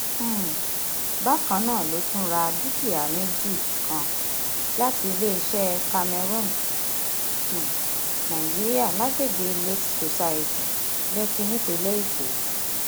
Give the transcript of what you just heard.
um bákan náà ló tún ra dúkìá méjì kan láti iléeṣẹ camarron um nigeria lágbègbè lakes society lèkì nípínlẹ èkó